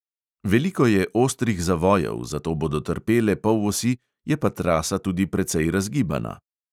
Veliko je ostrih zavojev, zato bodo trpele polosi, je pa trasa tudi precej razgibana.